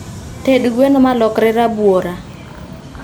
Ted gweno malokre rabuora